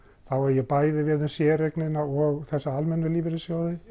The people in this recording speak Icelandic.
þá á ég bæði við séreignarsjóðina og þessa almennu lífeyrissjóði